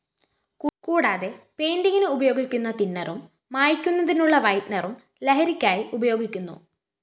കൂടാതെ പെയിന്റിങ്ങിന് ഉപയോഗിക്കുന്ന തിന്നറും മായ്ക്കുന്നതിനുള്ള വൈറ്റ്‌നറും ലഹരിക്കായി ഉപയോഗിക്കുന്നു